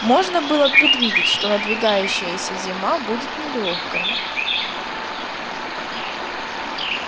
можно было предвидеть что надвигающаяся зима будет нелёгкой